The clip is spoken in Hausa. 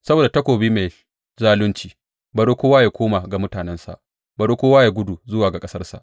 Saboda takobin mai zalunci bari kowa ya koma ga mutanensa, bari kowa ya gudu zuwa ga ƙasarsa.